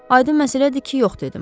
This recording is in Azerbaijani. Aydın məsələdir ki, yox dedim.